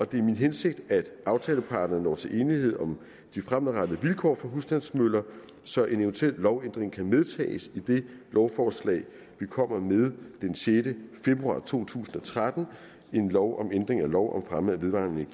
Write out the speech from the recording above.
det er min hensigt at aftaleparterne når til enighed om de fremadrettede vilkår for husstandsmøller så en eventuel lovændring kan medtages i det lovforslag vi kommer med den sjette februar to tusind og tretten en lovændring af lov om fremme af vedvarende